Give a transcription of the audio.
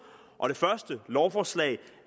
og det første lovforslag